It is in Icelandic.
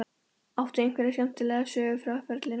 Áttu einhverja skemmtilega sögu frá ferlinum?